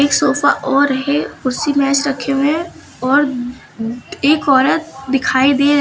sofa और है कुर्सी मेज रखे हुए हैं और एक औरत दिखाई दे--